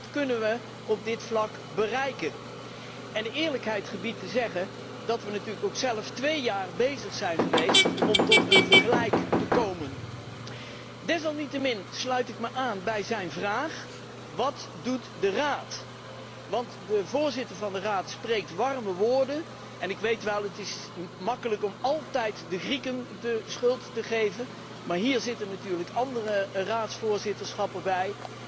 Wat kunnen we op dit vlak bereiken? De eerlijkheid gebiedt te zeggen dat we natuurlijk ook zelf twee jaar bezig zijn geweest om tot een vergelijk te komen. Desalniettemin sluit ik me aan bij zijn vraag Wat doet de Raad? Want de voorzitter van de Raad spreekt wel warme woorden maar waar zijn de daden? Ik weet wel, het is gemakkelijk om altijd de Grieken de schuld te geven, en bovendien zijn er natuurlijk ook andere raadsvoorzitterschappen geweest.